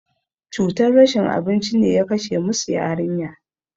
Cutar rashin abinci ne ya kashe musu yarinya.